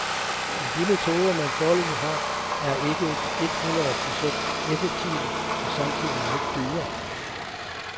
Men de metoder, man foreløbig har, er ikke et hundrede procent effektive og samtidigt meget dyre.